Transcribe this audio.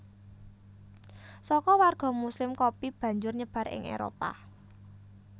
Saka warga muslim kopi banjur nyebar ing Éropah